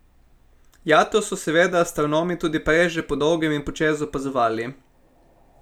Jato so seveda astronomi tudi prej že podolgem in počez opazovali.